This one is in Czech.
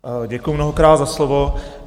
Děkuju mnohokrát za slovo.